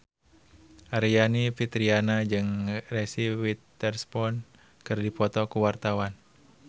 Aryani Fitriana jeung Reese Witherspoon keur dipoto ku wartawan